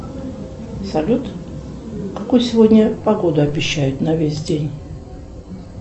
салют какую сегодня погоду обещают на весь день